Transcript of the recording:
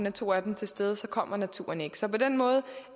er to af dem til stede for så kommer naturen ikke så på den måde